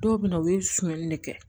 Dɔw bɛ na u ye sonyani de kɛ